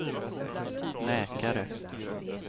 läkare